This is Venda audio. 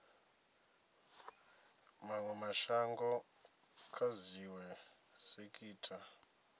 mawe mashango kha dziwe sekitha